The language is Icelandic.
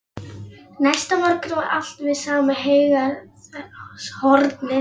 Næsta morgun var allt við sama heygarðshornið.